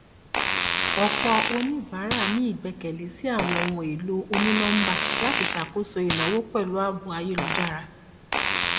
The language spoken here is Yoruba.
ọpọ oníbàárà ní ìgbẹkẹlé sí àwọn ohun èlò onínọmbà láti ṣàkóso ìnáwó pẹlú ààbò ayélújára